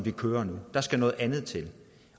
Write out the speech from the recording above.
det kører nu der skal noget andet til